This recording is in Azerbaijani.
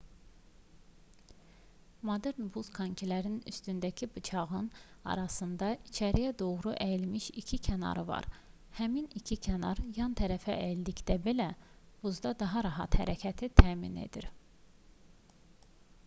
modern buz konkilərinin üstündəki bıçağın arasında içəriyə doğru əyilmiş iki kənarı var həmin iki kənar yan tərəfə əyildikdə belə buzda daha rahat hərəkəti təmin edir